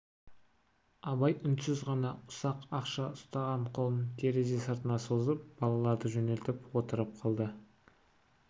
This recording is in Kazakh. абай үнсіз ғана ұсақ ақша ұстаған қолын терезе сыртына созып балаларды жөнелтіп отырып қалды